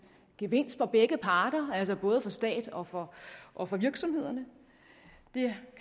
gevinst for begge parter altså både for staten og for og for virksomhederne